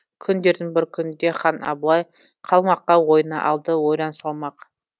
күндердің бір күнінде хан абылай қалмаққа ойына алды ойран салмақ